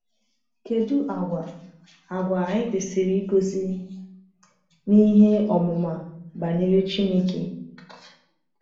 Kedu àgwà àgwà anyị kwesịrị igosi n’ihe ọmụma banyere Chineke?